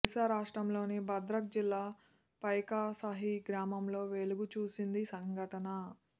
ఓడిశా రాష్ట్రంలోని భద్రక్ జిల్లా పైకాసహీ గ్రామంలో వెలుగుచూసిందీ సంఘటన